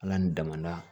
Ala ni damada